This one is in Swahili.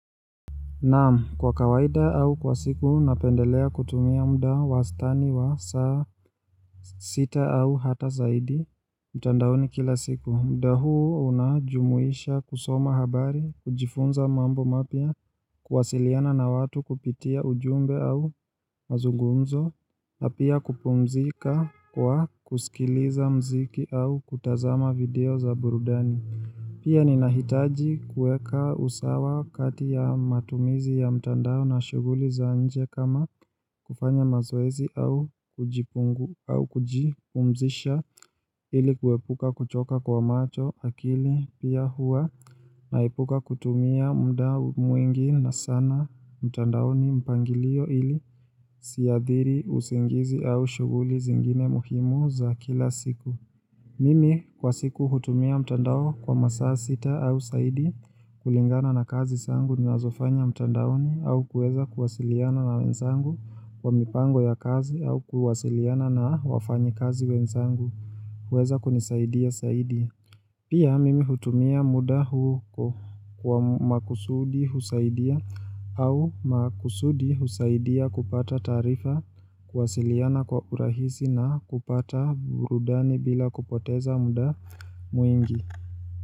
Naam, kwa kawaida au kwa siku, napendelea kutumia muda wastani wa saa sita au hata zaidi mtandaoni kila siku. Muda huu unajumuisha kusoma habari, kujifunza mambo mapya, kuwasiliana na watu kupitia ujumbe au mazungumzo, na pia kupumzika kwa kusikiliza muziki au kutazama video za burudani. Pia ninahitaji kuweka usawa kati ya matumizi ya mtandao na shughuli za nje kama kufanya mazoezi au kujipungu au kujipumzisha ili kuepuka kuchoka kwa macho, akili pia huwa naepuka kutumia muda mwingi na sana mtandaoni mpangilio ili isiadhiri usingizi au shughuli zingine muhimu za kila siku. Mimi kwa siku hutumia mtandao kwa masaa sita au zaidi kulingana na kazi zangu ninazofanya mtandaoni au kuweza kuwasiliana na wenzangu kwa mipango ya kazi au kuwasiliana na wafanyikazi wenzangu. Huweza kunisaidia zaidi. Pia mimi hutumia muda huu kwa makusudi husaidia au makusudi husaidia kupata taarifa kuwasiliana kwa urahisi na kupata burudani bila kupoteza muda mwingi.